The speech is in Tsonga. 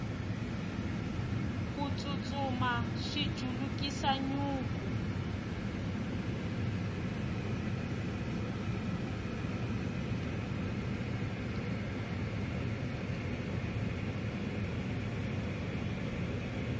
ku tsutsuma swi julukisa nyuku